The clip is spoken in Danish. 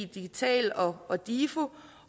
digital og og difo